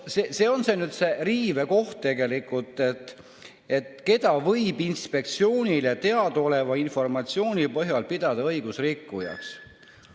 Siin on see riive koht, see, et "keda võib Inspektsioonile teadaoleva informatsiooni põhjal pidada õigusrikkujaks".